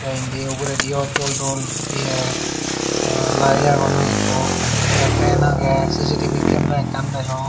endi ugudio dol dol eya light agon hoi ekku te fan agey C_C_T_V camara ekkan degong.